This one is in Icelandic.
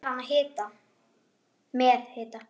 Líklega er hann með hita.